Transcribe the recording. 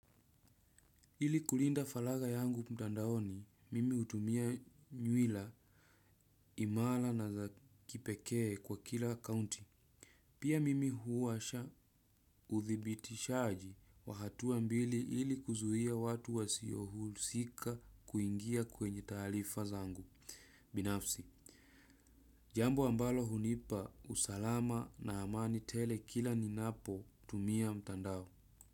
Ili kulinda faragha yangu mtandaoni mimi hutumia nywila imara na za kipekee kwa kila akaunti. Pia mimi huwasha uthibitishaji wa hatua mbili ili kuzuia watu wasiohusika kuingia kwenye taarifa zangu binafsi. Jambo ambalo hunipa usalama na amani tele kila ninapotumia mtandao.